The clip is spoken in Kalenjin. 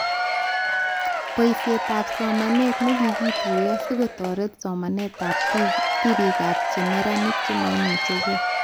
Boishetab somanet nekikituyo sikotoret somanetab tipikab cheneranik chemaimuchke